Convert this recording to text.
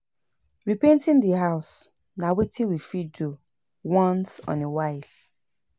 Re-painting di house na wetin we fit do once on a while